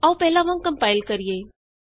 ਆਉ ਪਹਿਲਾਂ ਵਾਂਗ ਕੰਪਾਇਲ ਕਰੀਏ